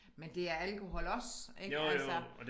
Men det er alkohol også ik altså